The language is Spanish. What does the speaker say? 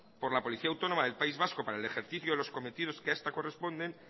por la policía autónoma del país vasco para el ejercicio de los cometido que ha esta corresponden